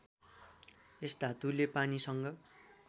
यस धातुले पानीसँग